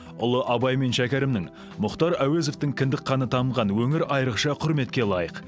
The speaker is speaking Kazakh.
ұлы абай мен шәкәрімнің мұхтар әуезовтің кіндік қаны тамған өңір айрықша құрметке лайық